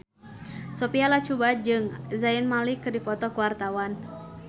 Sophia Latjuba jeung Zayn Malik keur dipoto ku wartawan